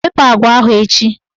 Wepu agwa ahụ echi!